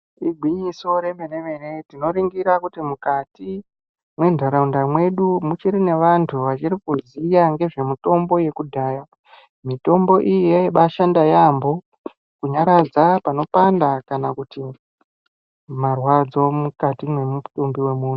Igwinyiso remene mene tinoningirsa kuti mukati mentaraunda medu muchiri nevantu vachiri kuziya ngezvemitombo yekudhaya, mitombo iyi yaibaashanda yaambo kunyaradza panopanda kana kuti marwadzo mukati memutumbi wemuntu.